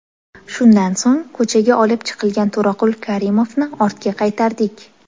Shundan so‘ng, ko‘chaga olib chiqilgan To‘raqul Karimovni ortga qaytardik.